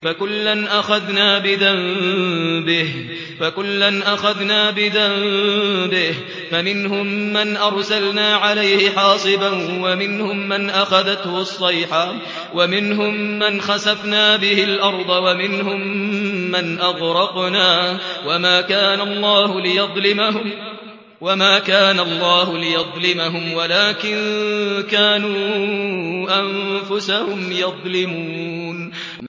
فَكُلًّا أَخَذْنَا بِذَنبِهِ ۖ فَمِنْهُم مَّنْ أَرْسَلْنَا عَلَيْهِ حَاصِبًا وَمِنْهُم مَّنْ أَخَذَتْهُ الصَّيْحَةُ وَمِنْهُم مَّنْ خَسَفْنَا بِهِ الْأَرْضَ وَمِنْهُم مَّنْ أَغْرَقْنَا ۚ وَمَا كَانَ اللَّهُ لِيَظْلِمَهُمْ وَلَٰكِن كَانُوا أَنفُسَهُمْ يَظْلِمُونَ